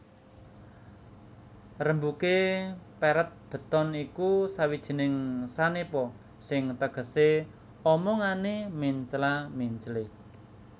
Rembugé peret beton iku sawijining sanepa sing tegesé omongané mencla menclé